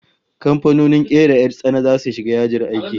Kamfanonin kera 'yar tsana zasu shiga yajin aiki